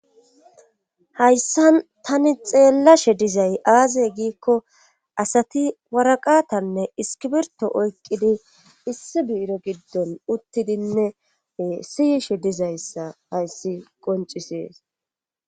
hayssan tani xeellashe dizay aaze giikko asati waraqatanne iskibirto oykqidi issi biiro giddon uttidinne siyishe dizayssa hayssi qoncisees